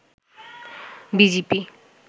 BGP